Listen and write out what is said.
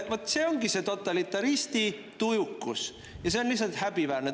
" Vaat, see ongi see totalitaristi tujukus ja see on lihtsalt häbiväärne.